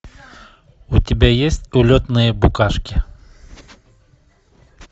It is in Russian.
у тебя есть улетные букашки